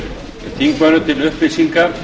þingmönnum til upplýsingar